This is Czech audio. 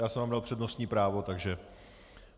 Já jsem vám dal přednostní právo, takže...